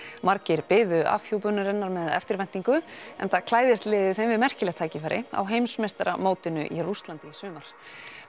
margir biðu afhjúpunarinnar með eftirvæntingu enda klæðist liðið þeim við merkilegt tækifæri á heimsmeistaramótinu í Rússlandi í sumar